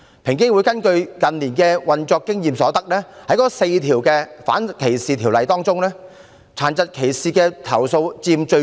平機會根據近年運作經驗所得，在4項反歧視條例中，殘疾歧視所佔比例最高。